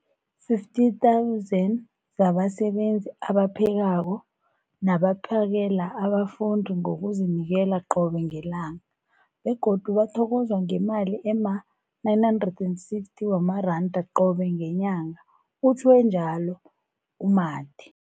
50 000 zabasebenzi abaphekako nabaphakela abafundi ngokuzinikela qobe ngelanga, begodu bathokozwa ngemali ema-960 wamaranda qobe ngenyanga, utjhwe njalo u-Mathe.